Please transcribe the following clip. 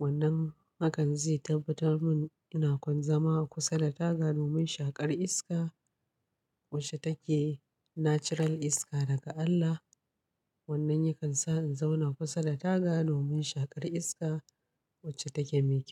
wannan hakan zai tabbatar mun ina kwanzama kusa da taga domin shaƙar iska wacce take natural iska daga Allah. Wannan yakan sa in zauna kusa da taga domin shaƙar iska wacce take me kyau.